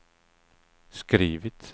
skrivit